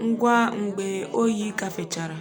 um ngwa mgbe oyi gafechara.